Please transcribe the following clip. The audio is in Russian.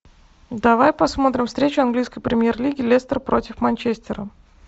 давай посмотрим встречу английской премьер лиги лестер против манчестера